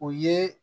O ye